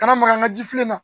Kana maka n ka jifilila